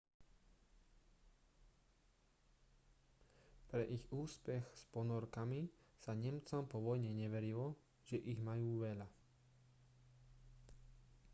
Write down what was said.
pre ich úspech s ponorkami sa nemcom po vojne neverilo že ich majú veľa